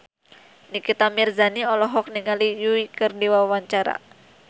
Nikita Mirzani olohok ningali Yui keur diwawancara